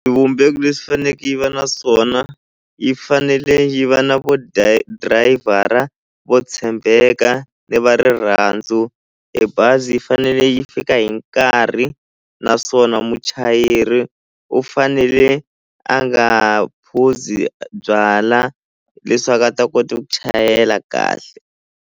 Swivumbeko leswi faneke yi va na swona yi fanele yi va na vo driver-a vo tshembeka ni va rirhandzu e bazi yi fanele yi fika hi nkarhi naswona muchayeri u fanele a nga phuzi byala leswaku a ta kota ku chayela kahle.